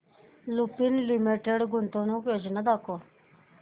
Lupin limited गुंतवणूक योजना दाखव